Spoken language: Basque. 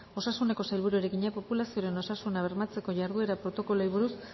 osasuneko sailburuari egina populazioaren osasuna bermatzeko jarduera protokoloei buruz